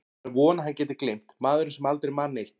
Það er von að hann geti gleymt, maðurinn sem aldrei man neitt.